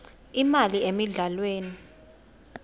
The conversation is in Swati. imali emidlalweni